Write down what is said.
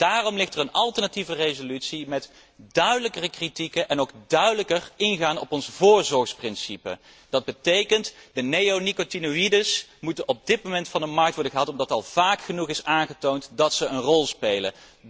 Daarom ligt er een alternatieve resolutie met duidelijkere kritieken en ook duidelijker ingaan op ons voorzorgsprincipe. Dat betekent de neonicotinoïden moeten op dit moment van de markt worden gehaald, omdat al vaak genoeg is aangetoond dat ze een rol spelen.